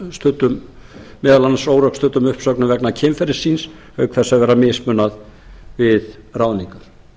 sæta meðal annars órökstuddum uppsögnum vegna kynferðis síns auk þess að vera mismunað við ráðningar